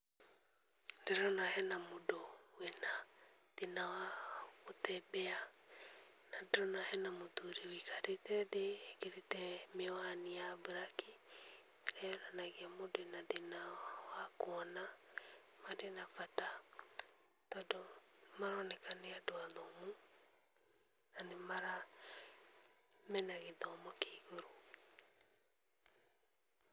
Ndĩrona hena mũndũ wĩna thĩna wa gũtembea, na ndĩrona hena mũthuri wũikarĩte thĩ ekĩrĩte mĩwani ya mburaki ĩrĩa yonanagia mũndũ ena thĩna wa kũona. Marĩ na bata tondũ maroneka nĩ andũ athomu na mena gĩthomo kĩa igũrũ.